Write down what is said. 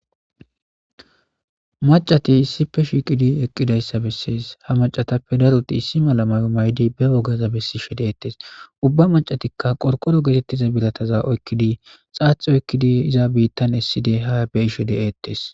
Macati issipe shiqidi eqidaysa bases ha macata gidope issi mala mayo mayidi ba wogaza besishe detes ha macatika qorqoro Giza birataza oykidi bitan esidi ha bimeyishe detes